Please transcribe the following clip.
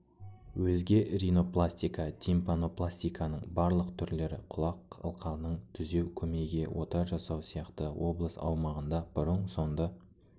өзге ринопластика тимпанопластиканың барлық түрлері құлақ қалқанын түзеу көмейге ота жасау сияқты облыс аумағында бұрын-соңды